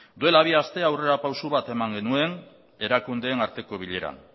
duela bi aste aurrerapauso bat eman genuen erakundeen arteko bileran